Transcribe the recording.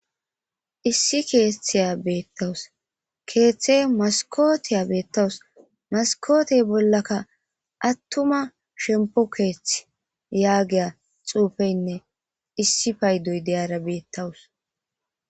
Issi Keethiya beetawus. Keethe maskotiya beetawus. Maskote bollaka attuma shempo keethi yaagiya xuufeynne issi paydoy de'iyara beetawus.